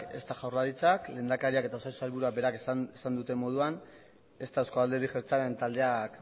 ezta jaurlaritzak lehendakariak eta osasun sailburuak berak esan duten moduan ezta euzko alderdi jeltzalean taldeak